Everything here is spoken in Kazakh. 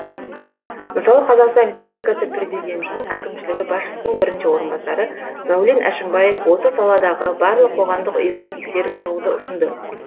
мысалы қазақстан республикасы президентінің әкімшілігі басшысының бірінші орынбасары мәулен әшімбаев осы саладағы барлық қоғамдық ұйымды тексеріп шығуды ұсынды